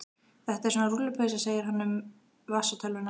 Þetta er svona rúllupylsa segir hann um vasatölvuna.